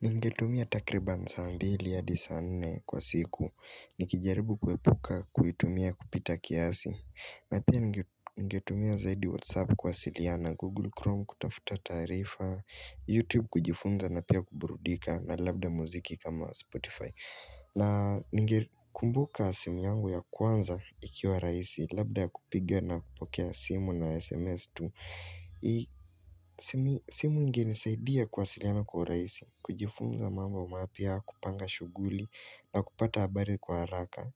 Ningetumia takriba saa mbili hadi saa nne kwa siku, nikijaribu kuepuka kuitumia kupita kiasi, na pia ningetumia zaidi whatsapp kuwasiliana, google chrome kutafuta taarifa, youtube kujifunza na pia kuburudika na labda muziki kama spotify. Na ningekumbuka simu yangu ya kwanza ikiwa rahisi labda ya kupiga na kupokea simu na SMS tu simu inge nisaidia kuwasiliana kwa uraisi, kujifunza mambo mapya kupanga shuguli na kupata habari kwa haraka